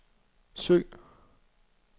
søg